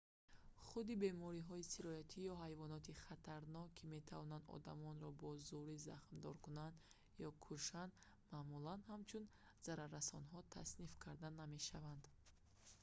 худи бемориҳои сироятӣ ё ҳайвоноти хатарнок ки метавонанд одамонро бо зӯрӣ захмдор кунанд ё кушанд маъмулан ҳамчун зараррасонҳо тасниф карда намешаванд